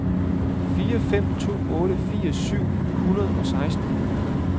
fire fem to otte firs syv hundrede og seksten